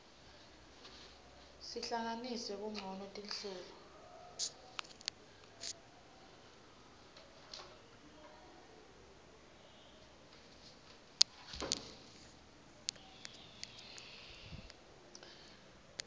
sihlanganise kancono tinhlelo